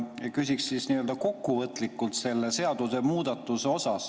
Küsin siis nii‑öelda kokkuvõtlikult selle seadusemuudatuse kohta.